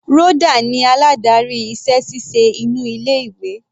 Rhoda ni aládarí iṣẹ́ ṣíṣe inú ilé ìwé.